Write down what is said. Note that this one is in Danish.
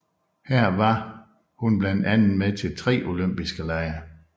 Her var hun blandt andet med til tre olympiske lege